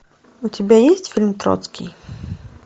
у тебя есть фильм троцкий